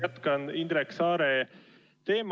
Jätkan Indrek Saare küsimuse teemal.